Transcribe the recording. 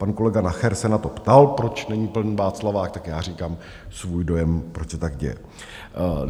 Pan kolega Nacher se na to ptal, proč není plný Václavák, tak já říkám svůj dojem, proč se tak děje.